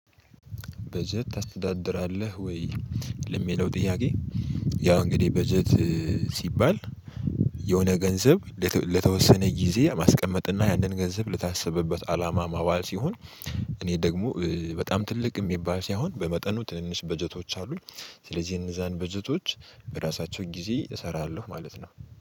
በጀት ታስተዳድራለህ ወይ ለሚለው ጥያቄ? ያው እንግዲህ በጀት ሲባል የሆነ ገንዘብ ለተወሰነ ጊዜ ማስቀመጥና ያንን ገንዘብ ለታሰበበት አላማ ማባል ሲሆን። እኔ ደግሞ በጣም ትልቅ የሚባል ሳይሆን በመጠኑ ትንንሽ በጀቶች አሉኝ። ስለዚህ የነዛን በጀቶች በራሳቸው ጊዜ እሰራለሁ ማለት ነው